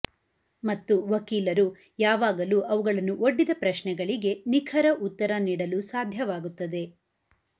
ಮತ್ತು ವಕೀಲರು ಯಾವಾಗಲೂ ಅವುಗಳನ್ನು ಒಡ್ಡಿದ ಪ್ರಶ್ನೆಗಳಿಗೆ ನಿಖರ ಉತ್ತರ ನೀಡಲು ಸಾಧ್ಯವಾಗುತ್ತದೆ